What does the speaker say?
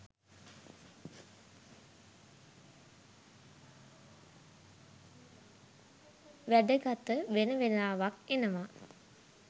වැඩ ගත වෙන වෙලාවක් එනවා